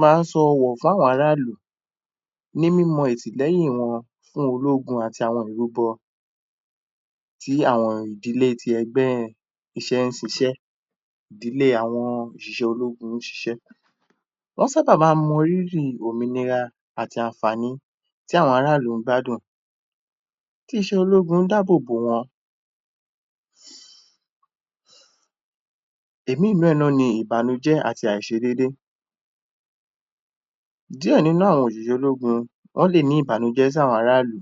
ma ń sọ wọ̀ fún àwọn ará ìlú, ní mímọ ẹ̀sì lẹyìn wọn, fún ológun àti àwọn ìlú gan, tí àwọn ìdílé tí ẹgbẹ́ iṣẹ́ ń ṣiṣẹ́ di ilé àwọn ìṣìṣẹ́ ológun ń ṣiṣẹ́. Wọ́n ṣábà ma ń mọ rírì òmìnira àti ànfàaní tí àwọn aráàlú bá dùn. Tíṣẹ́ ológun dábòbò wọ́n.